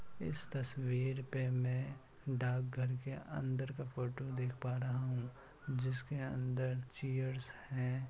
इस तस्वीर पे में डाकघर के अंदर का फोटो देख पा रहा हूँ जिसके अंदर चैरस हैं।